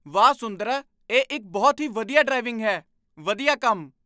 ਵਾਹ! ਸੁੰਦਰਾ ਇਹ ਇੱਕ ਬਹੁਤ ਹੀ ਵਧੀਆ ਡਰਾਇੰਗ ਹੈ! ਵਧੀਆ ਕੰਮ